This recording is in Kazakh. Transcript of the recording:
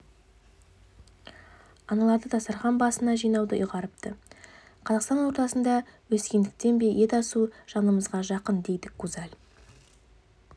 аналарды дастарқан басына жинауды ұйғарыпты қазақтың ортасында өскендіктен бе ет асу жанымызға жақын дейді гузаль